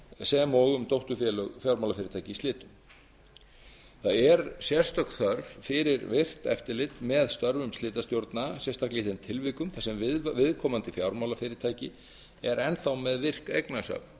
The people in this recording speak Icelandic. sem og um dótturfélög fjármálafyrirtækja í slitum það er sérstök þörf fyrir virkt eftirlit með störfum slitastjórna sérstaklega í þeim tilvikum þar sem viðkomandi fjármálafyrirtæki er enn þá með virk eignasöfn